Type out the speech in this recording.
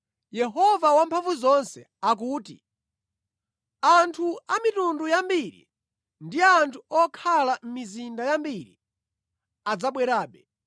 Yehova Wamphamvuzonse akuti, “Anthu a mitundu yambiri ndi anthu okhala mʼmizinda yambiri adzabwerabe,